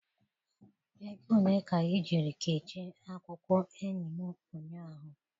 Ego ole ka i jiri kechie akwụkwọ enyi m ụnyahụ?